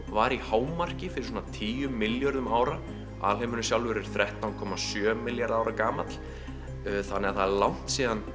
var í hámarki fyrir svona tíu milljörðum ára alheimurinn sjálfur er þrettán komma sjö milljarðar ára gamall þannig það er langt síðan